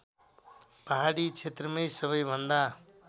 पहाडी क्षेत्रमै सबैभन्दा